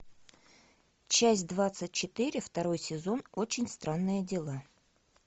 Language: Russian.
часть двадцать четыре второй сезон очень странные дела